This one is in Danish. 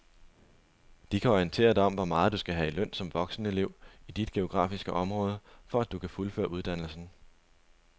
De kan orientere dig om hvor meget du skal have i løn som voksenelev i dit geografiske område, for at du kan fuldføre uddannelsen.